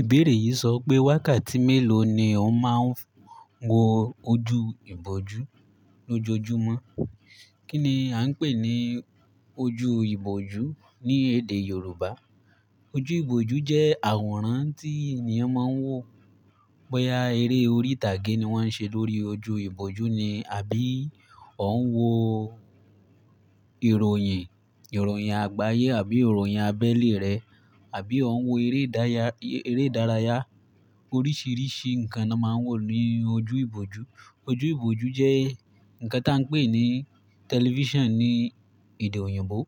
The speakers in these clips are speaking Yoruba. Ìbéèrè yìí sọ pé wákàtí mélòó ni òun máa ń wo ojú ìbòjú lójoojúmọ́? Kí ni à ń pè ní ojú ìbòjú ní èdè Yorùbá? Ojú ìbòjú jẹ́ àwòrán tí ènìyàn máa ń wò. Boyá eré orí ìtàgé ni wọ́n ń ṣe lórí ojú ìbòjú ni àbí òun ń wo ìròyìn, ìròyìn àgbáyé àbí ìròyìn abẹ́lé rẹ̀ àbí òun ń wo eré dáya, eré ìdárayá. Oríṣiríṣi nǹkan ni a máa ń wò ní ojú ìbòjú. Ojú ìbòjú jẹ́ nǹkan tí a ń pè ní tẹlifíṣàn ní èdè òyìnbó.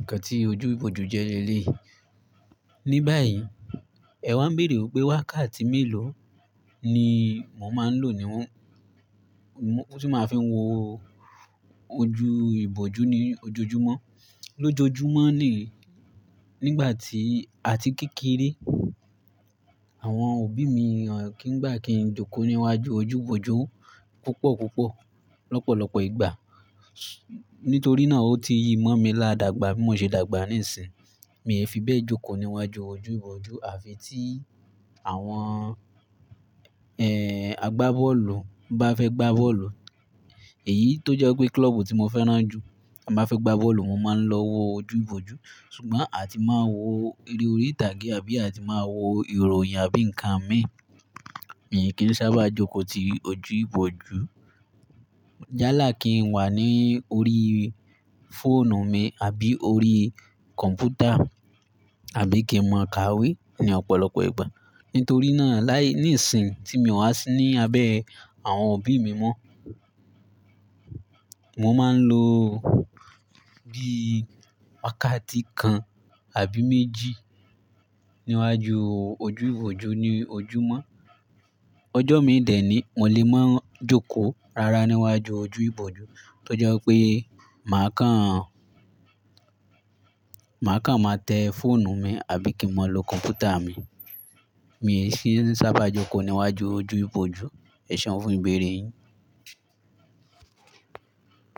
Nǹkan tí ojú ìbòjú jẹ́ ni léyìí. Ni báyìí, ẹ̀ wa ń béèrè pé wákàtí mélòó ni mò máa ń lò níwon, mo tí máa fi ń wo ojú ìbòjú ní ojoojúmọ́? Lójojúmọ́ le, nígbà tí a ti kékeré, àwọn òbí mi kí ń gbà kí n jókòó níwájú ojú ìbòjú púpọ̀ púpọ̀, lọ́pọ̀lọ́pọ̀ ìgbà. Nítorí náà, ó ti yi mọ́ mi ládagba, bí mo ṣe dàgbà níìsín, mi ò fi bẹ́ẹ̀ jókòó níwájú ojú ìbòjú àfi tí àwọn, ẹ́ẹ́, àgbábọ́ọ̀lù bá fẹ́ gbá bọ́ọ̀lù. Èyí tó jẹ́ pé kílọ́ọ̀bù tí mo fẹ́ràn jù bá fẹ́ gbá bọ́ọ̀lù, mo máa ń lọ wọ ojú ìbòjú. Ṣùgbọ́n a ti máa ń wo eré orí ìtàgé àbí a ti máa ń wo ìròyìn àbí nǹkan mìíràn, mì kìn sábà jókòó ti ojú ìbòjú. Yálá kí n wá ní orí fóònù mi àbí orí kọ̀m̀pútà àbí kí n máa ka wé ní ọ̀pọ̀lọpọ̀ ìgbà. Nítorí náà, láì, níìsín tí mi ò wá sí ní abẹ́ àwọn òbí mi mọ́, mo máa ń lo bí wákàtí kan àbí méjì níwájú ojú ìbòjú ní ojúmọ́. Ọjọ́ mi dẹ̀ ní mò lè máa ń jókòó rara níwájú ojú ìbòjú tó jẹ́ pé màá kan, màá kan máa tẹ́ fóònù mi àbí kí n máa lo kọ̀m̀pútà mi. Mí sì ń sábà jókòó níwájú ojú ìbòjú. Ẹ seun fún ìbéèrè yìí.